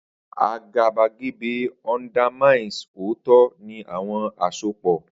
Agabagebe undermines ooto ni awọn asopọ.